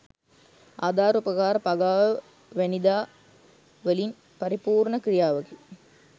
ආධාර උපකාර පගාව වැනිදා වලින් පරිපූර්ණ ක්‍රියාවකි